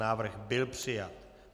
Návrh byl přijat.